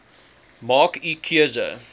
maak u keuse